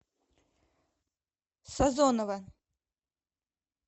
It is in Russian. сазонова